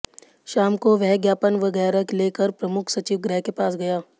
शाम को वह ज्ञापन वगै़रह ले कर प्रमुख सचिव गृह के पास गया